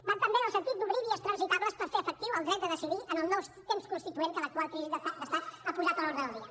van també en el sentit d’obrir vies transitables per fer efectiu el dret de decidir en el nou temps constituent que l’actual crisi d’estat ha posat a l’ordre del dia